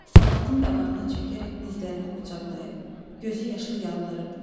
Soldatın qabağına çökərək dizlərini qucaqlayıb gözü yaşlı yalvarırdım.